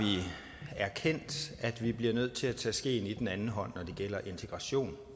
erkendt at vi bliver nødt til at tage skeen i den anden hånd når det gælder integration